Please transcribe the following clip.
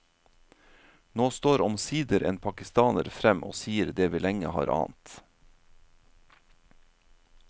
Nå står omsider en pakistaner frem og sier det vi lenge har ant.